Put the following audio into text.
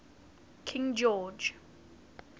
king george